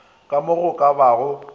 ka mo go ka bago